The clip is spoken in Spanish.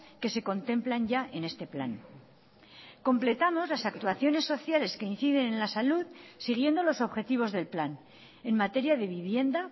que se contemplan ya en este plan completamos las actuaciones sociales que inciden en la salud siguiendo los objetivos del plan en materia de vivienda